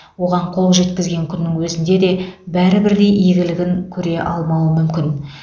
оған қол жеткізген күннің өзінде де бәрі бірдей игілігін көре алмауы мүмкін